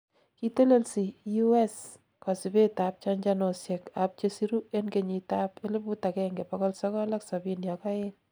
kitelelsi U.S kosibet ab chanchanosiek ab chesiru en 1972